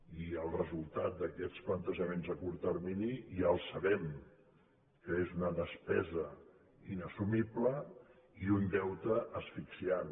i els resultats d’aquests plantejaments a curt termini ja els sabem que són una despesa inassumible i un deute asfixiant